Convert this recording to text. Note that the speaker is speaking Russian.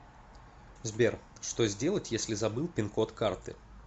сбер что сделать если забыл пин код карты